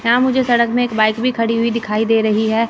यहां मुझे सड़क में एक बाइक भी खड़ी हुई दिखाई दे रहीं हैं।